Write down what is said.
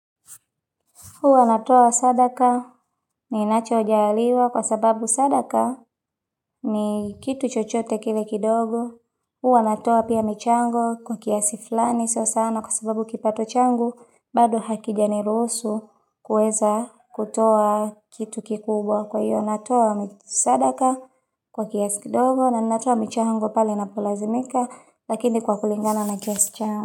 Uwa natoa sadaka ninachojaliwa kwa sababu sadaka ni kitu chochote kile kidogo. Uwa natoa pia michango kwa kiasi flani sio sana kwa sababu kipato changu. Bado hakija niruhusu kueza kutoa kitu kikubwa kwa iyo natoa sadaka kwa kiasi kidogo na ninatoa michango pale napolazimika lakini kwa kulingana na kiasi changu.